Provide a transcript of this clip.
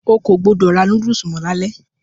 O kò gbọdọ̀ ra núdùsù mọ́ lalẹ́.